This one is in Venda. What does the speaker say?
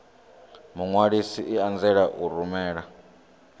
muṅwalisi i anzela u rumela